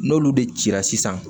N'olu de cira sisan